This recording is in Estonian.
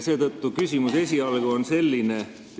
Seetõttu on küsimus esialgu selline.